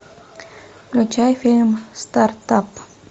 включай фильм стартап